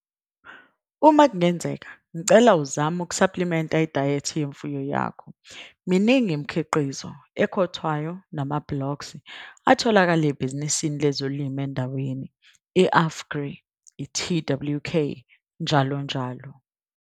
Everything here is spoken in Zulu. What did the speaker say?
Uma kungenzeka, ngicela uzame ukusaplimenta idayethi yemfuyo yakho - miningi imikhiqizo, ekhothwayo namabhloksi, atholakalayo ebhizinisini lezolimo endaweni, i-Afgri, TWK, njll.